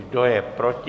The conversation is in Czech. Kdo je proti?